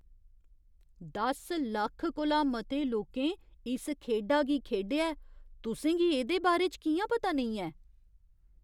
दस लक्ख कोला मते लोकें इस खेढा गी खेढेआ ऐ। तुसें गी एह्दे बारे च कि'यां पता नेईं ऐ?